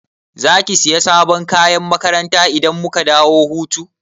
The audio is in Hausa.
Zaki Siya sabon kayan makaranta idan muka dawo hutu?